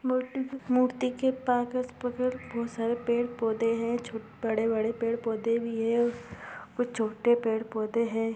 मूर्ति मूर्ति के बोहोत सारे पेड़-पौधे हैं छो बड़े-बड़े पेड़-पौधे भी हैं कुछ छोटे पेड़-पौधे हैं।